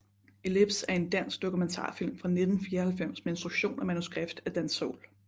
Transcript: Ellipse er en dansk dokumentarfilm fra 1994 med instruktion og manuskript af Dan Säll